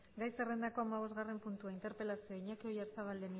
gai zerrendako hamabosgarren puntua interpelazioa iñaki oyarzabal